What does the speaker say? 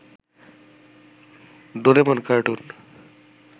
Doraemon cartoon